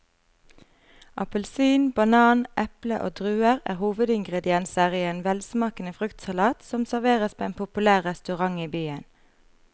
Appelsin, banan, eple og druer er hovedingredienser i en velsmakende fruktsalat som serveres på en populær restaurant i byen.